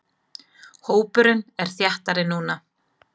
Hópurinn er þéttari núna.